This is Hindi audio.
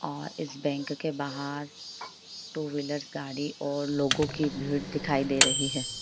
अ इस बैंक के बाहर टू व्हीलर्स गाड़ी और लोगो की भीड़ दिखाई दे रही है।